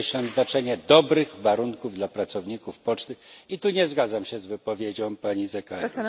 znaczenie dobrych warunków dla pracowników poczty i tu nie zgadzam się z wypowiedzią pani z ECR.